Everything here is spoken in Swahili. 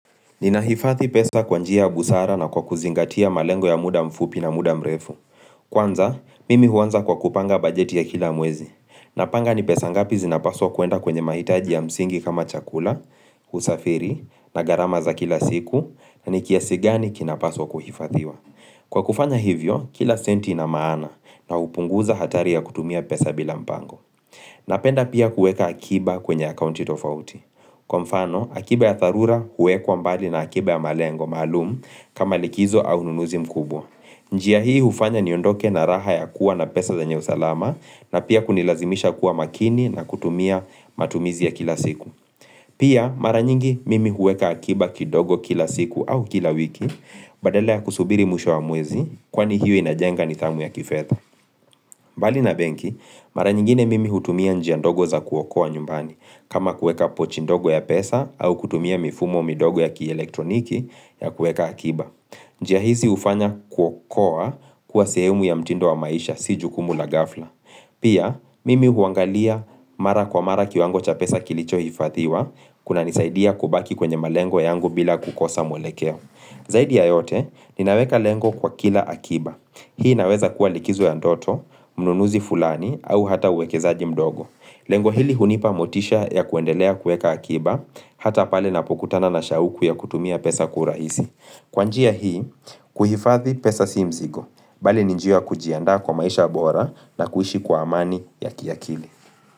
Ninahifadhi pesa kwa njia ya busara na kwa kuzingatia malengo ya muda mfupi na muda mrefu. Kwanza, mimi huanza kwa kupanga bajeti ya kila mwezi. Napanga ni pesa ngapi zinapaswa kuenda kwenye mahitaji ya msingi kama chakula, usafiri, na gharama za kila siku, na ni kiasi gani kinapaswa kuhifathiwa. Kwa kufanya hivyo, kila senti na maana na upunguza hatari ya kutumia pesa bila mpango. Napenda pia kuweka akiba kwenye akaunti tofauti. Kwa mfano, akiba ya tharura huwekwa mbali na akiba ya malengo maalumu kama likizo au ununuzi mkubwa. Njia hii hufanya niondoke na raha ya kuwa na pesa zenye usalama na pia kunilazimisha kuwa makini na kutumia matumizi ya kila siku Pia mara nyingi mimi huweka akiba kidogo kila siku au kila wiki badala ya kusubiri mwisho wa mwezi, kwani hiyo inajenga nidhamu ya kifedha mbali na benki, mara nyingine mimi hutumia njia ndogo za kuokoa nyumbani, kama kueka pochi ndogo ya pesa au kutumia mifumo midogo ya kielektroniki ya kueka akiba. Njia hizi hufanya kuokoa kuwa sehemu ya mtindo wa maisha si jukumu la ghafla. Pia, mimi huangalia mara kwa mara kiwango cha pesa kilichohifathiwa, kunanisaidia kubaki kwenye malengo yangu bila kukosa mwelekeo. Zaidi ya yote, ninaweka lengo kwa kila akiba. Hii naweza kuwa likizo ya ndoto, mnunuzi fulani, au hata uwekezaji mdogo. Lengo hili hunipa motisha ya kuendelea kuweka akiba, hata pale napokutana na shauku ya kutumia pesa kwa urahisi. Kwa njia hii, kuhifathi pesa si mzigo, bali ni njia ya kujiandaa kwa maisha bora na kuishi kwa amani ya kiakili.